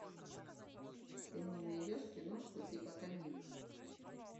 ты мне найдешь киношку типа комедии